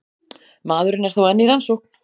Maðurinn er þó enn í rannsókn